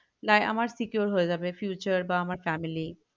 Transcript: তাই আমার secure হয়ে যাবে future বা আমর family